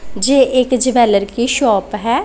जे एक ज्वैलर की शॉप है।